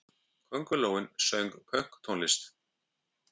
Köngulóin söng pönktónlist!